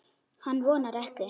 Hann vonar ekki.